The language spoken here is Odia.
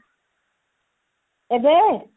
ଏବେ